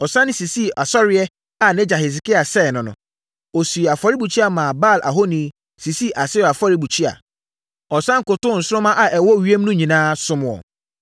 Ɔsane sisii asɔreeɛ a nʼagya Hesekia sɛee no no. Ɔsii afɔrebukyia maa Baal ahoni, sisii Asera afɔrebukyia. Ɔsane kotoo nsoromma a ɛwɔ ewiem no nyinaa, somm wɔn.